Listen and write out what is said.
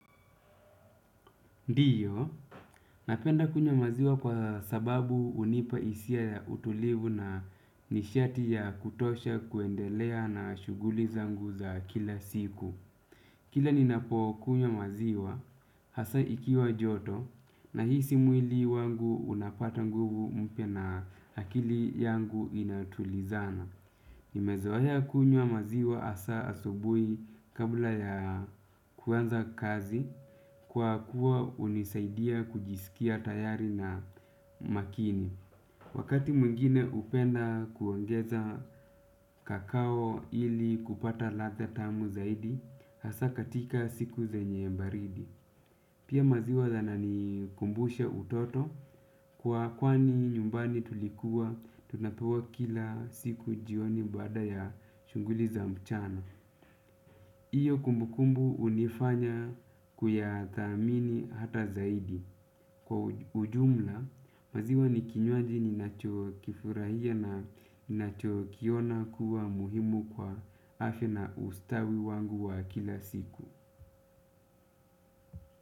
Ndiyo, napenda kunywa maziwa kwa sababu unipa isia ya utulivu na nishati ya kutosha kuendelea na shuguli zangu za kila siku. Kila ninapo kunywa maziwa, hasa ikiwa joto, nahisi mwili wangu unapata nguvu mpya na akili yangu inatulizana. Nimezoea kunywa maziwa asaa asubui kabla ya kuanza kazi kwa kuwa unisaidia kujisikia tayari na makini. Wakati mwingine upenda kuongeza kakao ili kupata ladha tamu zaidi, hasaa katika siku zenye baridi. Pia maziwa yana nikumbusha utoto kwa kwani nyumbani tulikuwa tunapewa kila siku jioni baada ya shunguli za mchana. Iyo kumbukumbu unifanya kuyathamini hata zaidi. Kwa ujumla maziwa ni kinywaji ninacho kifurahia na nacho kiona kuwa muhimu kwa afya na ustawi wangu wa kila siku.